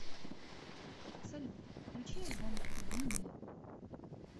салют включи альбом ту би ми